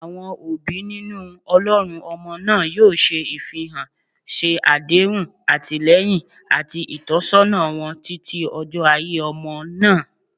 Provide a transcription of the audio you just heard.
Awọn obi ninu olorun ọmọ naa yoo se- ifihan, ṣe adehun atilẹyin ati itọsọna wọn titi ojo aiye omo na